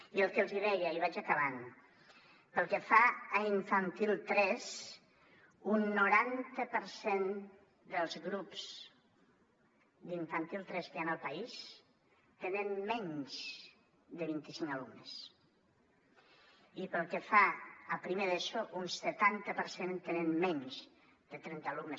i el que els hi deia i vaig acabant pel que fa a infantil tres un noranta per cent dels grups d’infantil tres que hi ha en el país tenen menys de vint i cinc alumnes i pel que fa a primer d’eso un setanta per cent tenen menys de trenta alumnes